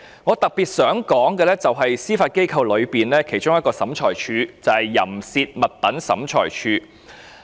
我特別想談談司法機構下的一個審裁處——淫褻物品審裁處。